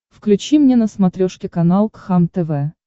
включи мне на смотрешке канал кхлм тв